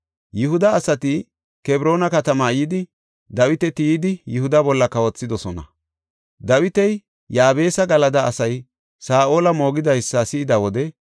Yihuda asati Kebroona katamaa yidi, Dawita tiyidi Yihuda bolla kawothidosona. Dawiti Yaabesa Galada asay Saa7ola moogidaysa si7ida wode,